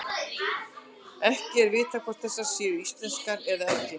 Ekki er vitað hvort þessar séu íslenskar eða ekki.